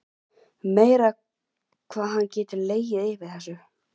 Meira hvað hann getur legið yfir þessu.